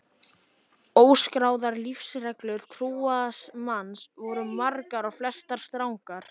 Óskráðar lífsreglur trúaðs manns voru margar og flestar strangar.